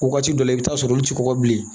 Waati dɔ la i bɛ t'a sɔrɔ olu tɛ kɔgɔ bilen